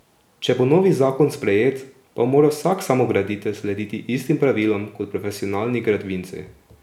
Če bo novi zakon sprejet, pa bo moral vsak samograditelj slediti istim pravilom kot profesionalni gradbinci.